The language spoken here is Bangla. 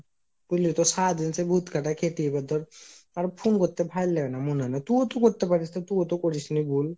বুজলিতো সারাদিন সেই ভুত খাটা খেতে এবার ধর আর phone করতে ভালো লাগে না মুন হয় না। তুও তো করতে পারিস তা তুও তো করিসনি বল।